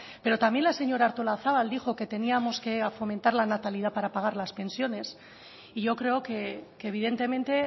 pero también la señora artolazabal dijo que teníamos que fomentar la natalidad para pagar las pensiones y yo creo que evidentemente